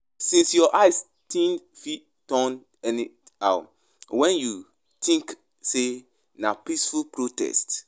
Shine your eye, tins fit turn anyhow when you tink sey na peaceful protest.